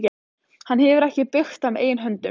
Hefur hann ekki byggt það með eigin höndum?